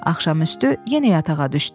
Axşam üstü yenə yatağa düşdü.